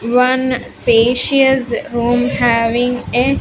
One spacious room having a --